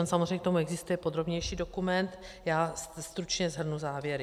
On samozřejmě k tomu existuje podrobnější dokument, já stručně shrnu závěry.